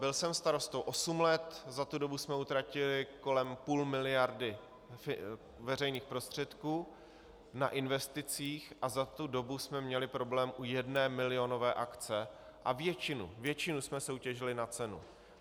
Byl jsem starostou osm let, za tu dobu jsme utratili kolem půl miliardy veřejných prostředků na investicích a za tu dobu jsme měli problém u jedné milionové akce a většinu jsme soutěžili na cenu.